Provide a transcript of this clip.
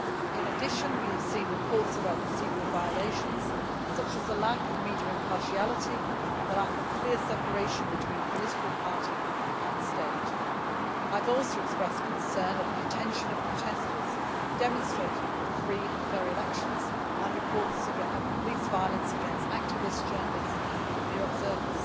In addition, we have seen reports about procedural violations such as a lack of media impartiality and the lack of clear separation between political party and state. I have also expressed concern at the detention of protesters demonstrating for free and fair elections, and reports of police violence against activists, journalists and mere observers.